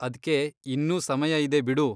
ಅದ್ಕೆ ಇನ್ನೂ ಸಮಯ ಇದೆ ಬಿಡು.